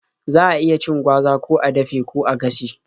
Za a iya cin gwaza ko a dafe ko a gashe.